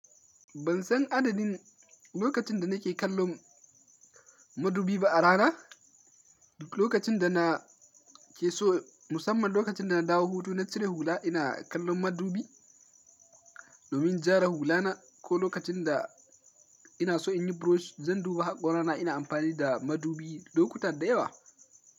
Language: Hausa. Ban san adadin lokacin da nake kallon madubi ba a rana. Lokacin da na ke so musamman lokacin da na dawo hutu na cire hula ina kallon madubi domin jara hula na ko lokacin da ina so in yi brush zan duba haƙora na ina amfani da madubi lokuta da yawa.